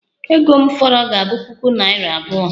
Ego m fọrọ ga-abụ puku naira abụọ